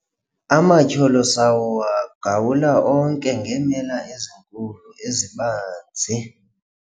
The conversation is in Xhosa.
amatyholo sawagawula onke ngeemela ezinkulu ezibanzi